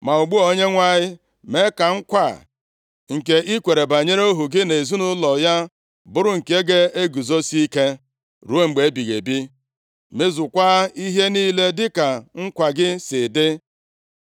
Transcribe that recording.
“Ma ugbu a, Onyenwe anyị, mee ka nkwa a nke i kwere banyere ohu gị na ụlọ ya bụrụ nke ga-eguzosie ike ruo mgbe ebighị ebi. Mezukwaa ihe niile dịka nkwa gị si dị,